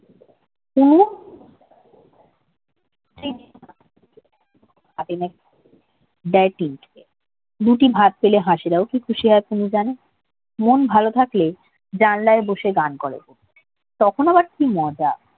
হাতে কেমন ব্যয়পিন থাকে দুটি ভাত পেলে হাঁসেরাও কি খুশি হয় কুমু জানে মন ভালো থাকলে জানলায় বসে গান করে তখন আবার কি মজা